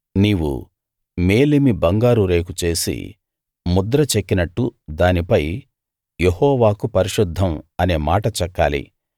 నీవు మేలిమి బంగారు రేకు చేసి ముద్ర చెక్కినట్టు దానిపై యెహోవాకు పరిశుద్ధం అనే మాట చెక్కాలి